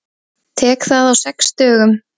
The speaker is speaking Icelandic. Tek það á sex dögum.